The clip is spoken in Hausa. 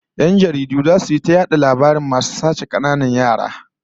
Yan jaridu zasu yi ta yayata labarin masu sace kananan yara